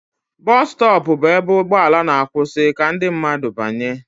Bọsụ stọọpụ bụ ebe ụgbọala ma-akwụsị ka ndị mmadụ banye.